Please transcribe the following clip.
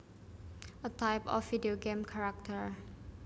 A type of video game character